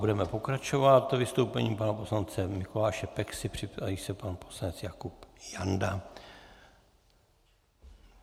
Budeme pokračovat vystoupením pana poslance Mikuláše Peksy, připraví se pan poslanec Jakub Janda.